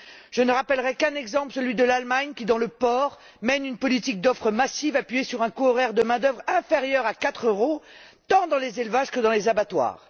Je ne rappellerai qu'un exemple, celui de l'Allemagne, qui, dans le secteur du porc, mène une politique d'offre massive appuyée sur un coût horaire de main d'œuvre inférieur à 4 euros, tant dans les élevages que dans les abattoirs.